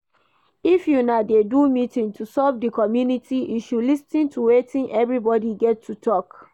If una dey do meeting to solve di community issue, lis ten to wetin everybody get to talk